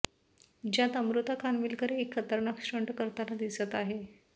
ज्यात अमृता खानविलकर एक खतरनाक स्टंट करताना दिसत आहे